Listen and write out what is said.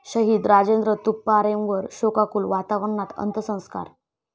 शहीद राजेंद्र तुपारेंवर शोकाकूल वातावरणात अंत्यसंस्कार